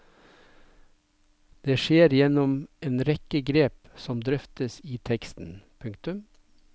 Det skjer gjennom en rekke grep som drøftes i teksten. punktum